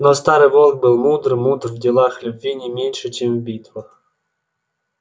но старый волк был мудр мудр в делах любви не меньше чем в битвах